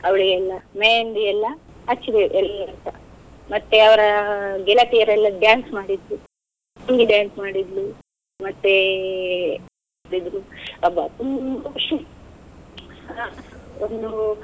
ಅವ್ಳ್ಗೆಲ್ಲ मेहंदी ಎಲ್ಲ ಹಚ್ಚಿದೇವು ಎಲ್ಲರೂಸಾ, ಮತ್ತೆ ಅವರ ಗೆಳತಿಯರೆಲ್ಲ dance ಮಾಡಿದ್ರು dance ಮಾಡಿದ್ಲು ಮತ್ತೆ ಅಬ್ಬಾ ತುಂಬಾ ಖುಷಿ ಒಂದು.